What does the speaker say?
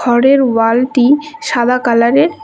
ঘরের ওয়ালটি সাদা কালারের ।